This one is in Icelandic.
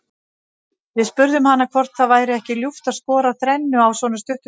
Við spurðum hana hvort það væri ekki ljúft að skora þrennu á svona stuttum tíma.